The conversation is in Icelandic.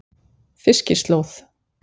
Fiskislóð